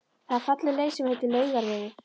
Það er falleg leið sem heitir Laugavegur.